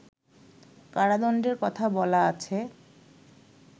কারাদণ্ডের কথা বলা আছে